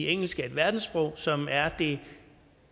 engelsk er et verdenssprog som er det